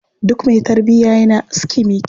Duk mai tarbiya yana aski mai kyau.